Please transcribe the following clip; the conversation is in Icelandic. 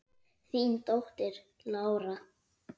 Þín dóttir, Lára.